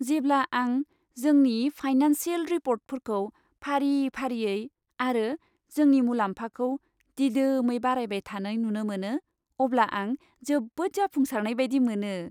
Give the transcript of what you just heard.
जेब्ला आं जोंनि फाइनानसियेल रिपर्टफोरखौ फारि फारियै आरो जोंनि मुलाम्फाखौ दिदोमै बारायबाय थानाय नुनो मोनो, अब्ला आं जोबोद जाफुंसारनाय बायदि मोनो।